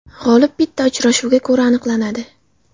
G‘olib bitta uchrashuvga ko‘ra aniqlanadi.